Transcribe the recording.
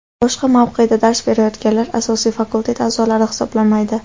Boshqa mavqeda dars berayotganlar asosiy fakultet a’zolari hisoblanmaydi.